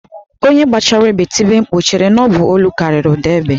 Onye gbachara égbè tibe mkpu, ọ chere na ọ bụ olu kariri ụda egbe?